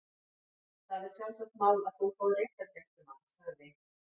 Það er sjálfsagt mál að þú fáir réttargæslumann- sagði